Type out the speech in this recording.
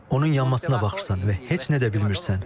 Onun yanmasına baxırsan və heç nə də bilmirsən.